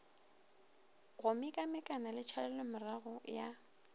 go mekamekana le tšhalelomorago ya